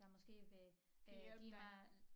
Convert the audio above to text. Der måske vil øh give mig